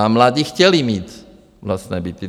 A mladí chtěli mít vlastní byty.